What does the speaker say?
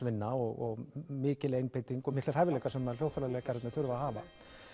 vinna og mikil einbeiting og miklir hæfileikar sem hljóðfæraleikararnir þurfa að hafa